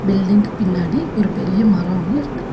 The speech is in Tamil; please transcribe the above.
பில்டிங் க்கு பின்னாடி ஒரு பெரிய மரோ ஒன்னு இருக்கு.